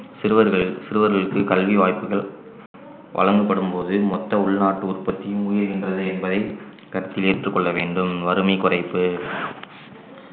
சிறுவர்களின் சிறுவர்களுக்கு கல்வி வாய்ப்புகள் வழங்கப்படும்போது மொத்த உள்நாட்டு உற்பத்தியும் உயிர்கின்றது என்பதை கருத்தில் ஏற்றுக் கொள்ள வேண்டும் வறுமை குறைப்பு